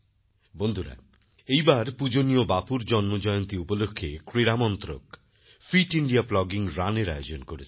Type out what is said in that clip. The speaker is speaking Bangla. বন্ধুরা এইবার পূজনীয় বাপুর জন্মজয়ন্তী উপলক্ষে ক্রীড়ামন্ত্রক ফিট ইন্দিয়া প্লগিং Runএর আয়োজন করেছে